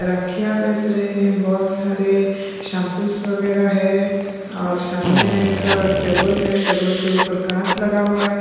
राखियाँ बेच रहे हैं बहोत सारे शैंपूस वगैरह है और सामने एक टेबल है टेबल के ऊपर काँच लगा हुआ है।